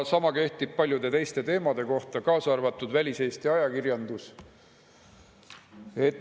Sama kehtib paljude teiste teemade kohta, kaasa arvatud väliseesti ajakirjandus.